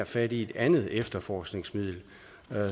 fat i et andet efterforskningsmiddel